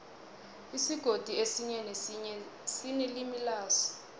isigodi esinye nesinye sinelimi laso